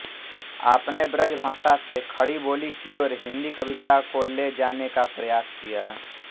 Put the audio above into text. आपने ब्रजभाषा से खड़ीबोली की ओर हिंदीकविता को ले जाने का प्रयास किया